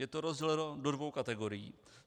Je to rozděleno do dvou kategorií.